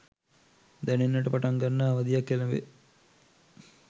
දැනෙන්නට පටන් ගන්නා අවධියක් එළඹේ